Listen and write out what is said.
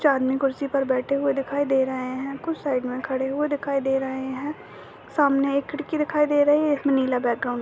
चार आदमी कुर्सी बैठे हुए दिखाई दे रहे हैं कुछ साइड में खड़े हुए दिखाई दे रहे हैं सामने एक खिड़की दिखाई दे रही है इसमें नीला बैकग्राउंड --